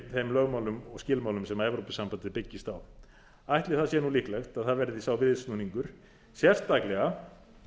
þeim lögmálum og skilmálum sem evrópusambandið byggist á ætli það sé líklegt að það verði sá viðsnúningur sérstaklega ef